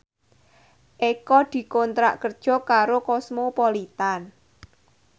Eko dikontrak kerja karo Cosmopolitan